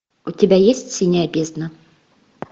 у тебя есть синяя бездна